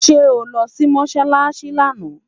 sé oló Si mosálási lànà?